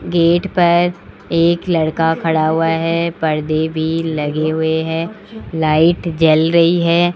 Gate पर एक लड़का खड़ा हुआ है पर्दे भी लगे हुए हैं लाइट जल रही है।